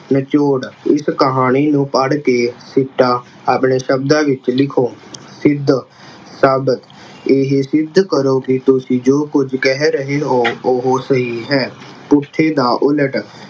ਨਿਚੋੜ, ਇਸ ਕਹਾਣੀ ਨੂੰ ਪੜ ਕਿ ਸਿੱਟਾ ਆਪਣੇ ਸ਼ਬਦਾਂ ਵਿੱਚ ਲਿਖੋ। ਸਿੱਧ ਅਹ ਸਾਬਿਤ ਇਹ ਸਿੱਧ ਕਰੋ ਕਿ ਤੁਸੀਂ ਜੋ ਕੁਝ ਕਹਿ ਰਹੇ ਹੋ ਉਹੋ ਸਹੀ ਹੈ ਦਾ ਉਲਟ